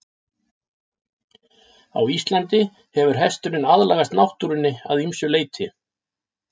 Á Íslandi hefur hesturinn aðlagast náttúrunni að ýmsu leyti.